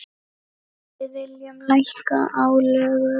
Við viljum lækka álögur.